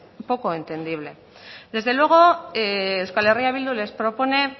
poco entendible desde luego euskal herria bildu les propone